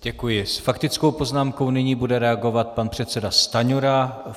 S faktickou poznámkou nyní bude reagovat pan předseda Stanjura.